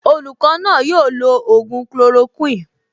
Olùkọ́ náà yóò lo ògùn chloroquine